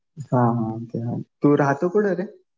हा हा. ते आहे. तू राहतो कुठं रे?